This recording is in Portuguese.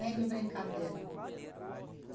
Nem de brincadeira?